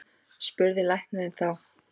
spurði læknirinn þá.